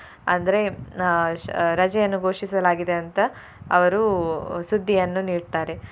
ಅಂದ್ರೆ ಅಹ್ ಶ~ ರಜೆಯನ್ನು ಘೋಷಿಸಲಾಗಿದೆ ಅಂತ ಅವರು ಅಹ್ ಸುದ್ದಿಯನ್ನು ನೀಡ್ತಾರೆ.